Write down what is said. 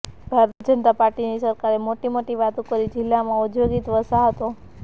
ભારતીય જનતા પાર્ટીની સરકારે મોટી મોટી વાતો કરી જિલ્લામાં ઔદ્યોગિક વસાહતો